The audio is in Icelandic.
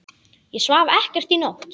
Ég svaf ekkert í nótt.